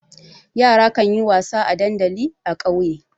Yara kan yi wasa a dandali a ƙauye.